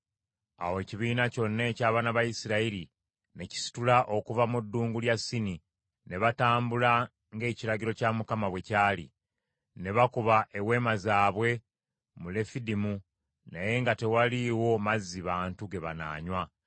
Awo ekibiina kyonna eky’abaana ba Isirayiri ne kisitula okuva mu ddungu lya Sini, ne batambula ng’ekiragiro kya Mukama bwe kyali. Ne bakuba eweema zaabwe mu Lefidimu, naye nga tewaliiwo mazzi bantu ge banaanywa.